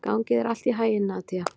Gangi þér allt í haginn, Nadia.